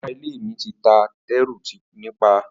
Ará ilé mi ti ta tẹ́ru nípàá